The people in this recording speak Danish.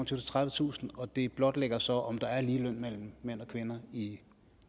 og tredivetusind og det blotlægger så om der er ligeløn mellem mænd og kvinder i